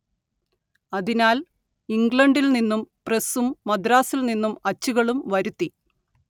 അതിനാൽ ഇംഗ്ലണ്ടിൽ നിന്നും പ്രസ്സും മദ്രാസിൽ നിന്നും അച്ചുകളും വരുത്തി